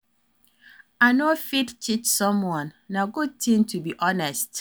I no fit cheat someone, na good ting to be honest.